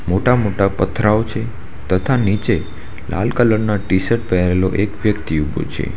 મોટા મોટા પથરાઓ છે તથા નીચે લાલ કલર ના ટી શર્ટ પહેરેલો એક વ્યક્તિ ઊભો છે.